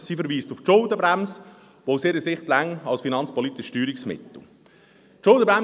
Sie verweist auf die Schuldenbremse, was aus ihrer Sicht als finanzpolitisches Steuerungsmittel ausreichend ist.